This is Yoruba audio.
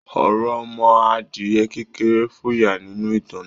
Òròmọadìẹ kékerẹ́ fòyà nínú ìtàn náà.